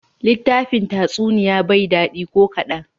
Litafin Tatsuniya bay li da dadi ko kadan.